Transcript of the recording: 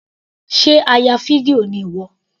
Sé a ya fídíò ni ìwọ.